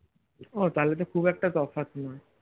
ও তাহলে তো খুব একটা তফাৎ নয়